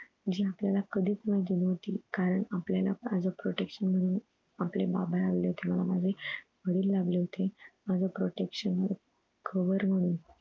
जे आपल्याला कधीच माहिती नव्हती कारण आपल्याला as a protection म्हणून आपले बाबा लाभले होते मला माझे वडील लाभले होते माझं protection cover म्हणून